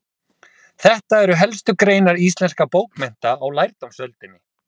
Þetta eru helstu greinar íslenskra bókmennta á lærdómsöldinni.